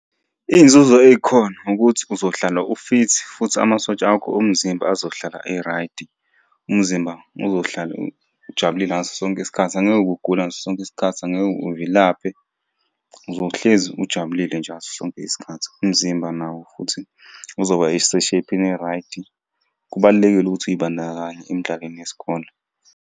Iy'nzuzo ey'khona ukuthi uzohlala u-fit, futhi amasotsha akho omzimba azohlala eraydi. Umzimba uzohlala ujabulile ngaso sonke isikhathi angeke ugule ngaso sonke isikhathi, angeke uvilaphe. Uzohlezi ujabulile njalo ngaso sonke isikhathi, umzimba nawo futhi uzoba sesheyiphini eraydi. Kubalulekile ukuthi uy'bandakanye emidlalweni yesikole.